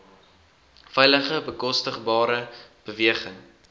veilige bekostigbare beweging